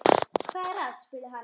Hvað er að? spurði hann.